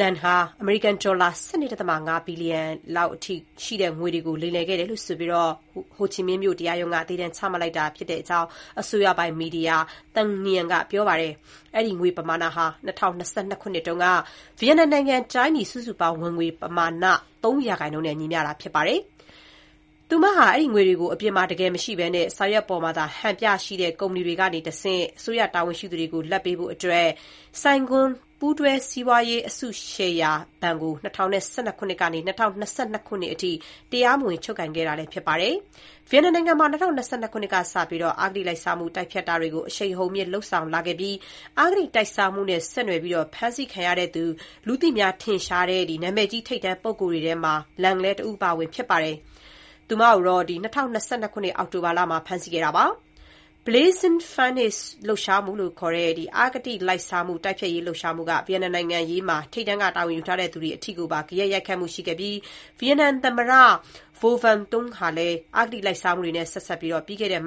Lan ဟာ အမေရိကန်ဒေါ်လာ ၁၂.၅ ဘီလျံ လောက်အထိရှိတဲ့ ငွေတွေကို လိမ်လည်ခဲ့တယ်ဆိုပြီး ဟိုချီမင်းမြို့တရားရုံးက သေဒဏ်ချမှတ်လိုက်ကြောင်း အစိုးရပိုင်မီဒီယာ Thanh Nien က ပြောပါတယ်။ အဲဒီ ငွေပမာဏဟာ ၂၀၂၂ ခုနှစ်က ဗီယက်နမ်နိုင်ငံ တိုင်းပြည် စုစုပေါင်းဝင်ငွေ ပမာဏ ၃ % နဲ့ ညီမျှတာဖြစ်ပါတယ်။ သူမဟာ အဲဒီငွေတွေကို အပြင်မှာတကယ်မရှိဘဲ စာရွက်ပေါ်မှာသာ ဟန်ပြရှိတဲ့ ကုမ္ပဏီတွေကနေတဆင့် အစိုးရတာဝန်ရှိသူတွေကို လာဘ်ပေးဖို့အတွက် Saigon ပူးတွဲစီးပွားရေးအစုရှယ်ယာဘဏ်ကို ၂၀၁၂ ကနေ ၂၀၂၂ အထိ တရားမဝင် ချုပ်ကိုင်ခဲ့တာလည်း ဖြစ်ပါတယ်။ ဗီယက်နမ်နိုင်ငံမှာ ၂၀၂၂ ခုနှစ်ကစတင်ပြီး အဂတိလိုက်စားမှု တိုက်ဖျက်ရေးတွေကို အရှိန်အဟုန်မြှင့် လုပ်ဆောင်လာခဲ့တာမှာ အဂတိလိုက်စားမှုနဲ့ ဆက်နွယ်ပြီး ဖမ်းခံရတဲ့ လူသိများ ထင်ရှားတဲ့ နာမည်ကြီးထိပ်တန်းပုဂ္ဂိုလ်တွေထဲ Lan လည်း တဦးအပါအဝင် ဖြစ်ပါတယ်။ သူမကို ၂၀၂၂ အောက်တိုဘာလမှာ ဖမ်းဆီးခဲ့တာဖြစ်ပါတယ်။ Blazing Furnace လှုပ်ရှားမှုလို့ခေါ်တဲ့ အဂတိလိုက်စားမှုတိုက်ဖျက်ရေးလှုပ်ရှားမှုက ဗီယက်နမ်နိုင်ငံရေးမှာ ထိပ်တန်းက တာဝန်ယူထားတဲ့သူတွေအထိကိုပါ ဂယက်ရိုက်ခတ်မှုရှိခဲ့ပြီး ဗီယက်နမ် သမ္မတ Vo Van Thoung ဟာလည်း အဂတိလိုက်စားမှုတွေနဲ့ ဆက်စပ်ပြီး ပြီးခဲ့တဲ့ မတ်